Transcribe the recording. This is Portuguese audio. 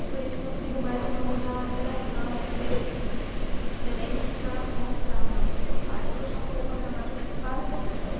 Aí por isso que eu sigo mais no ramo da redação, textos, diferentes, para mostrar mais essa parte, deixar um pouco a gramática para o professor.